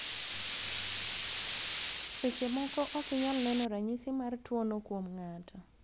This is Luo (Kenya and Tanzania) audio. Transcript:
seche moko okinyal neno ranyisi mar tuo no kuom ng'ato,